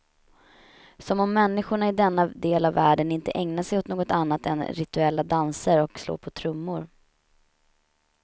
Som om människorna i denna del av världen inte ägnar sig åt något annat än rituella danser och slå på trummor.